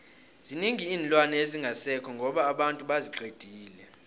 zinengi iinlwana ezingasekho ngoba abantu baziqedile